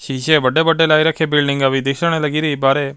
ਸ਼ੀਸ਼ੇ ਵੱਡੇ ਵੱਡੇ ਲਾਏ ਰੱਖੇ ਬਿਲਡਿੰਗਾ ਵੀ ਦਿਖਣ ਲਗੀ ਰਹੀ ਬਾਹਰੇ।